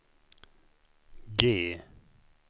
G